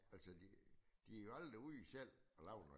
Altså de de jo aldrig ude selv og lave noget